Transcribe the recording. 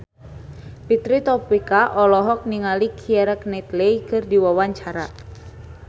Fitri Tropika olohok ningali Keira Knightley keur diwawancara